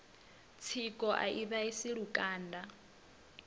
tsiko a i vhaisi lukanda